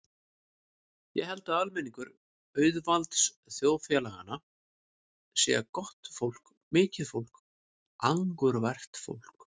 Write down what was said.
Ég held að almenningur auðvaldsþjóðfélaganna sé gott fólk, mikið fólk, angurvært fólk.